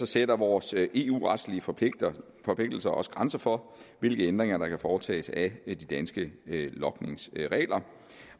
sætter vores eu retlige forpligtelser forpligtelser også grænser for hvilke ændringer der kan foretages af de danske logningsregler